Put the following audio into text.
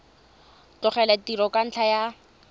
tlogela tiro ka ntlha ya